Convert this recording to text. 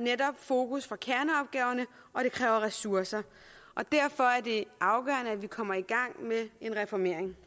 netop fokus fra kerneopgaverne og det kræver ressourcer derfor er det afgørende at vi kommer i gang med en reformering